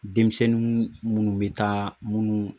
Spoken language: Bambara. Denmisɛnnin munnu bɛ taa munnu